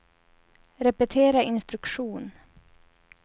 repetera instruktion